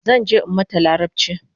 Zanje in mata larabchi